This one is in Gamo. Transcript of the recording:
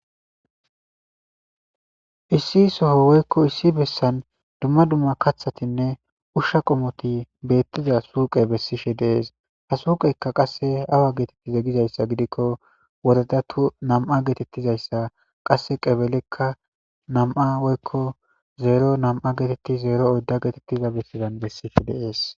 issi soho woykko issi bessan dumma dumma kaththatinne ushsha qomoti beettiza suuqe bessishe de'ees ha suuqeyka qasse awa geetetti zeggizayssa gidikko wodadatu nam7a geetettizayssa qasse qebelekka nam7a woykko zeero nam7a geetetti zeero odda geetettiza bessidan bessishe de'ees